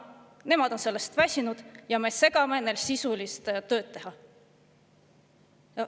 Nemad on sellest väsinud ja meie segame neid sisulise töö tegemisel.